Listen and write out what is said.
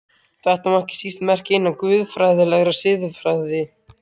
Þetta má ekki síst merkja innan guðfræðilegrar siðfræði.